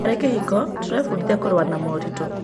Harĩ kĩhiko, tũrebundithia kũrũa na moritũ.